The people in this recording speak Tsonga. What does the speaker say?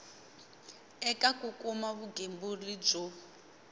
eka ku kuma vugembuli byo